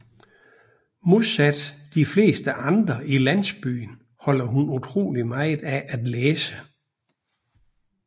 Modsat de fleste andre i landsbyen holder hun utroligt meget af at læse